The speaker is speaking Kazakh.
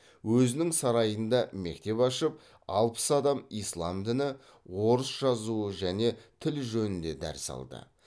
өзінің сарайында мектеп ашып алпыс адам ислам діні орыс жазуы және тіл жөнінде дәріс алды